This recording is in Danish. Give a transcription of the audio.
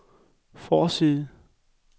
forside